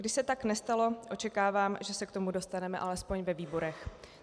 Když se tak nestalo, očekávám, že se k tomu dostaneme alespoň ve výborech.